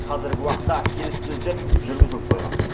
қазіргі уақытта келіссөздер жүргізіліп қойған